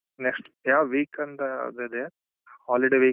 Next ಯಾವಾಗ week ಅಂತ ಅದು ಇದ್ಯಾ holiday week ಅತ್ವಾ middle.